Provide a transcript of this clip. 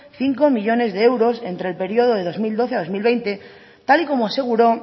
cinco millónes de euros entre el periodo de dos mil doce a dos mil veinte tal y como aseguró